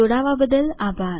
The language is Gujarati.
જોડાવા બદ્દલ આભાર